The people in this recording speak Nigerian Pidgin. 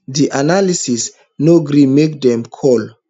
di analyst no gree make dem call